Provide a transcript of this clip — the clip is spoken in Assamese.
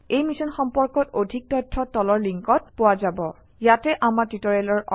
এই মিশ্যন সম্পৰ্কত অধিক তথ্য তলৰ লিংকত পোৱা যাব httpspoken tutorialorgNMEICT Intro ইয়াতে আমাৰ টিউটৰিয়েলৰ অন্ত পৰিছে